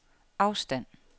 afstand